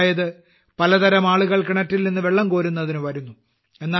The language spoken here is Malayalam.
അതായത് പലതരം ആളുകൾ കിണറ്റിൽനിന്ന് വെള്ളം കോരുന്നതിന് വരുന്നു